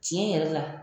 Tiɲɛ yɛrɛ la